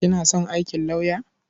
Kina son aikin lauyer?